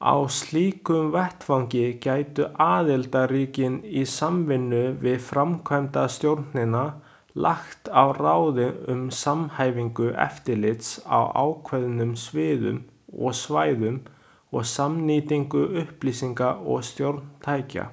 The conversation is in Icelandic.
Á slíkum vettvangi gætu aðildarríkin, í samvinnu við framkvæmdastjórnina, lagt á ráðin um samhæfingu eftirlits á ákveðnum sviðum og svæðum og samnýtingu upplýsinga og stjórntækja.